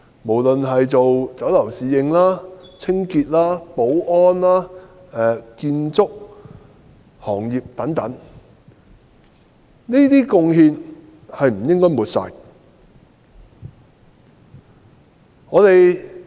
無論是酒樓侍應、清潔工、保安員、建築工人等，我們都不應抹煞他們的貢獻。